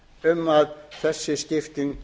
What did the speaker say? um að þessi skipting